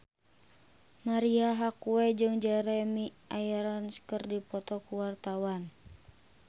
Marisa Haque jeung Jeremy Irons keur dipoto ku wartawan